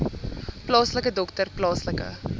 plaaslike dokter plaaslike